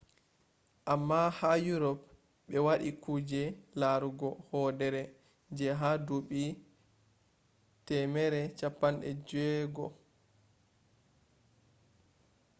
amma ha urop ɓe waɗi kuje larugo hoodere je ha duuɓi 1600 en